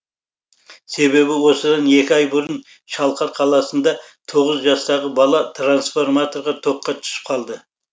себебі осыдан екі ай бұрын шалқар қаласында тоғыз жастағы бала трансформаторға тоққа түсіп қалды